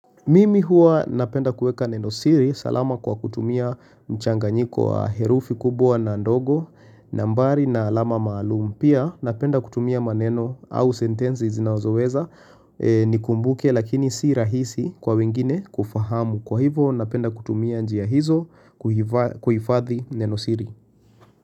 Mimi huwa napenda kuweka nenosiri salama kwa kutumia mchanganyiko wa herufi kubwa na ndogo nambari na alama maalum. Pia napenda kutumia maneno au sentenzi zinazoweza ni kumbuke lakini si rahisi kwa wengine kufahamu. Kwa hivo napenda kutumia njia hizo kuhifadhi nenosiri.